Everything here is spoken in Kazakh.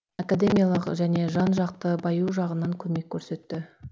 академиялық және жан жақты баю жағынан көмек көрсетті